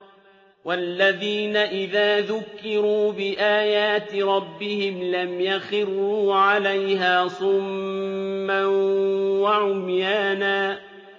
وَالَّذِينَ إِذَا ذُكِّرُوا بِآيَاتِ رَبِّهِمْ لَمْ يَخِرُّوا عَلَيْهَا صُمًّا وَعُمْيَانًا